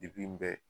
Depi n bɛ